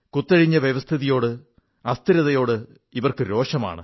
കുത്തഴിഞ്ഞ വ്യവസ്ഥിതിയോട് അസ്ഥിരതയോട് ഇവർക്ക് രോഷമാണ്